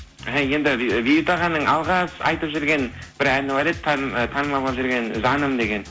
іхі енді бейбіт ағаның алғаш айтып жүрген бір әні бар еді ы танымал болып жүрген жаным деген